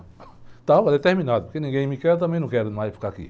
Estava determinado, porque ninguém me quer, eu também não quero mais ficar aqui.